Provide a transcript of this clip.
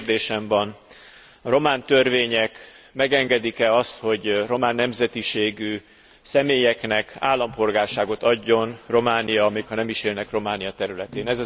Két kérdésem van a román törvények megengedik e azt, hogy román nemzetiségű személyeknek állampolgárságot adjon Románia, még ha nem is élnek Románia területén?